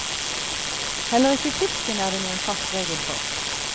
Heller ikke fisken er det noen fast regel for.